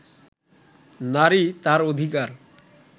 নারী তার অধিকার